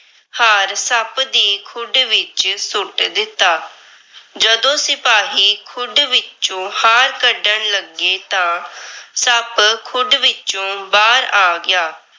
ਹਾਰ ਸੱਪ ਦੀ ਖੁੱਡ ਵਿੱਚ ਸੁੱਟ ਦਿੱਤਾ। ਜਦੋਂ ਸਿਪਾਹੀ ਖੁੱਡ ਵਿੱਚੋ ਹਾਰ ਕੱਢਣ ਲੱਗੇ ਤਾਂ ਸੱਪ ਖੁੱਡ ਵਿੱਚੋ ਬਾਹਰ ਆ ਗਿਆ।